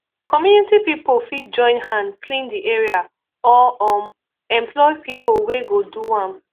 community pipo fit join hand clean di area or um employ pipo wey go do am